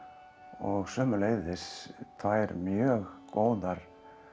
og sömuleiðis tvær mjög góðar